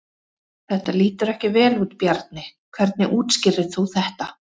Þetta lítur ekki vel út Bjarni, hvernig útskýrir þú þetta?